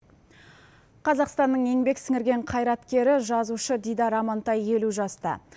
қазақстанның еңбек сіңірген қайраткері жазушы дидар амантай елу жаста